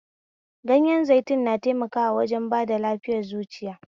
Ganyen zaitun na taimakawa wajen ba da lafiya zuciya